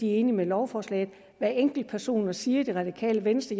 de er enige i lovforslaget hvad enkeltpersoner siger i det radikale venstre